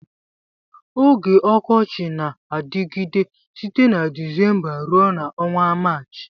Oge ọkọchi na-adịgide site na Dịzémbá rue na ọnwa Maachị